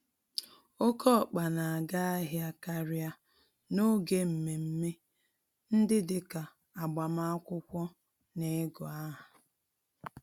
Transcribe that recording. Oké ọkpa n'aga ahịa karịa n'oge mmeme ndị dịka agbamakwụkwọ, na igụ-áhà.